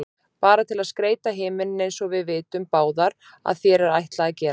Bara til að skreyta himininn einsog við vitum báðar að þér er ætlað að gera.